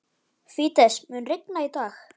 Fídes, mun rigna í dag?